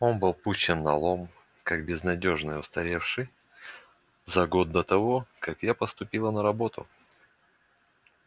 он был пущен на лом как безнадёжно устаревший за год до того как я поступила на работу